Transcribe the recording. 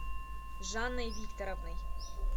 жанной викторовной